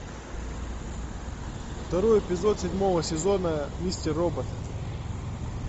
второй эпизод седьмого сезона мистер робот